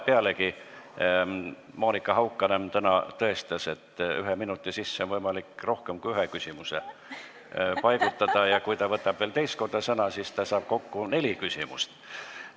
Pealegi, Monika Haukanõmm tõestas täna, et ühe minuti sisse on võimalik paigutada rohkem kui ühe küsimuse, ja kui ta võtab veel teist korda sõna, siis ta saab kokku neli küsimust.